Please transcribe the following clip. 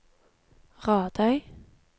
Radøy